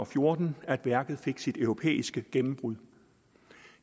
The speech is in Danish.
fjorten at værket fik sit europæiske gennembrud